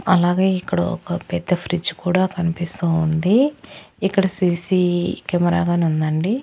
అలాగే ఇక్కడ ఒక పెద్ద ఫ్రిడ్జ్ కూడా కనిపిస్తోంది ఇక్కడ సిసి కెమెరా గాని ఉండండి.